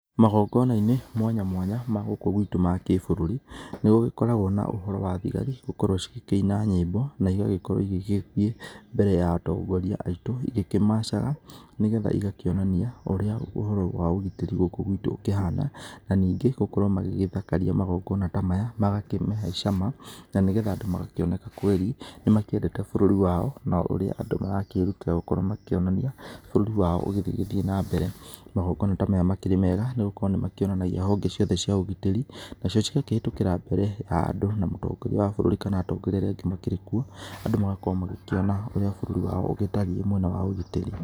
Magongona-inĩ mwanya mwanya ma gũkũ gwitũ ma gĩbũrũri, nĩgũgĩkoragwo na ũhoro wa thigari gũkorwo cigĩkĩina nyĩmbo, na igagĩkorwo igĩgĩthiĩ mbere ya atongoria aitũ igĩkĩ macaga, nĩgetha igakĩonania ũrĩa ũhoro wa ũgitĩri gũkũ gwitũ ũkĩhana, na ningĩ gũkorwo magĩgĩthakaria magongonna ta maya, magakĩmahe cama, na nĩgetha andũ magakĩoneka kweri, nĩmakĩendete bũrũri wao, na ũrĩ andũ marakĩrutĩra gũkorwo makĩonania bũrũri wao ũgĩthiĩ na mbere. Magongona ta maya nĩmakĩrĩ mega, nĩgũkorwo nĩmakĩonanagia honge ciothe cia ũgitĩri, nacio cigakĩhĩtũkĩra mbere ya andũ na mũtongoria wa bũrũri kana atongoria arĩa angĩ makĩrĩ kuo, andũ magakorwo magĩkĩona ũrĩa bũrũri wao ũgĩtariĩ mwena wa ũgitĩri.